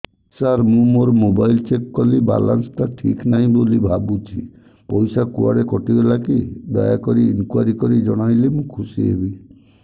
ସାର ମୁଁ ମୋର mobile check କଲି ବାଲାନ୍ସ ଟା ଠିକ ନାହିଁ ବୋଲି ଭାବୁଛି ପଇସା କୁଆଡେ କଟି ଗଲା କି ଦୟାକରି ଇନକ୍ୱାରି କରି ଜଣାଇଲେ ମୁଁ ଖୁସି ହେବି